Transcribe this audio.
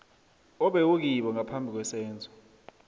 obewukibo ngaphambi kwesenzo